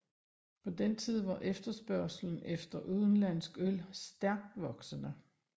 På den tid var efterspørgslen efter udenlandsk øl stærkt voksende